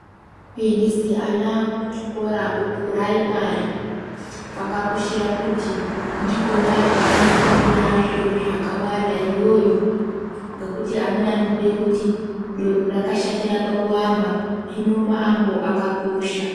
Kuendesa ana kuchikora kupiraimari kwakakoshera kuti ndikona kwanofundira zviro zvakawanda iyoyo ngekuti amweni anobhuya kuti doro rakashatira pakuamba hino maambo akakosha.